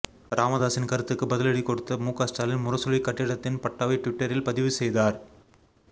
ராமதாஸின் கருத்துக்கு பதிலடி கொடுத்த முக ஸ்டாலின் முரசொலி கட்டிடத்தின் பட்டாவை டுவிட்டரில் பதிவு செய்தார்